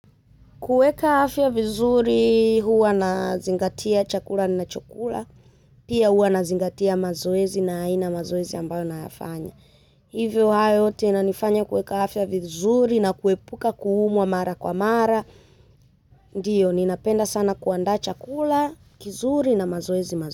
Kuweka afya vizuri huwa ninazingatia chakula ninachokula, pia huwa ninazingatia mazoezi na aina ya mazoezi ambayo ninafanya. Hivyo hayo yote inanifanya kuweka afya vizuri na kuepuka kuumwa mara kwa mara, ndiyo, ninapenda sana kuandaa chakula, kizuri na mazoezi mazoezi.